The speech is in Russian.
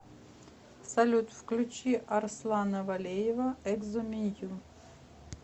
салют включи арслана валеева экзо менью